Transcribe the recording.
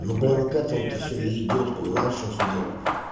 ну блин к этому-то все и идёт понимаешь в чем все дело